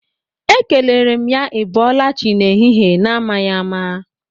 Ekelere m ya 'Ị bọlachi' n'ehihi na-amaghi ama.